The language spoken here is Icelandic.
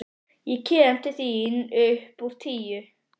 Ég kem til þín upp úr tíu.